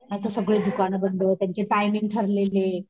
नाहीतर सगळी दुकान बंद त्यांचे टाईमिंग ठरलेले.